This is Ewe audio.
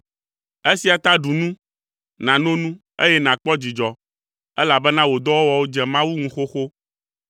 Eya ta ɖu nu, nàno nu eye nàkpɔ dzidzɔ elabena wò dɔwɔwɔwo dze Mawu ŋu xoxo!